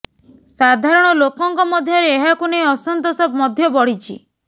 ସାଧାରଣ ଲୋକଙ୍କ ମଧ୍ୟରେ ଏହାକୁ ନେଇ ଅସନ୍ତୋଷ ମଧ୍ୟ ବଢିଛି